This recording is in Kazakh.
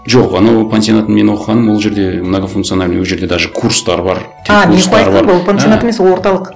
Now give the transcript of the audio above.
жоқ анау пансионат мен оқығаным ол жерде многофункциональный ол жерде даже курстар бар ол пансионат емес ол орталық